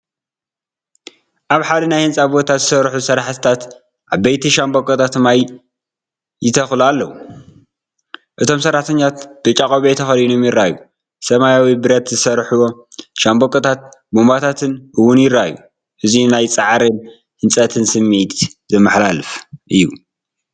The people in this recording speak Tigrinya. ኣብ ሓደ ናይ ህንጻ ቦታ ዝሰርሑ ሰራሕተኛታት ዓበይቲ ሻምብቆታት ማይ ይተኽሉ ኣለዉ። እቶም ሰራሕተኛታት ብጫ ቆቢዕ ተኸዲኖም ይረኣዩ፣ ሰማያዊ ብረት ዝሰርሕዎ ሻምብቆታትን ቡንባታትን እውን ይረኣዩ። እዙይ ናይ ጻዕርን ህንጸትን ስምዒት ዘመሓላልፍ እዩ።